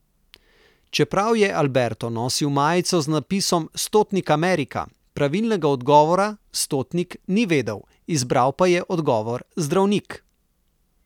Čeprav je Alberto nosil majico z napisom Stotnik Amerika, pravilnega odgovora, stotnik, ni vedel, izbral pa je odgovor zdravnik.